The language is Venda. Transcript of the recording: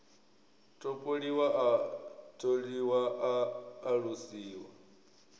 topoliwa a tholiwa a alusiwa